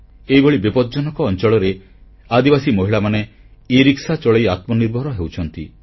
ଏଭଳି ବିପଦଜନକ ଅଂଚଳରେ ଆଦିବାସୀ ମହିଳାମାନେ ଇରିକ୍ସା ଚଳାଇ ଆତ୍ମନିର୍ଭର ହେଉଛନ୍ତି